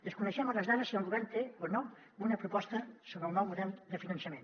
desconeixem a hores d’ara si el govern té o no una proposta sobre el nou model de finançament